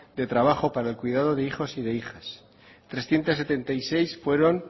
de trabajo para el cuidado de hijos y de hijas trescientos setenta y seis fueron